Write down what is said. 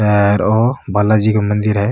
अर ओ बाला जी को मंदिर है।